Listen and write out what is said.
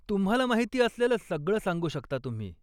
तुम्हाला माहिती असलेलं सगळं सांगू शकता तुम्ही.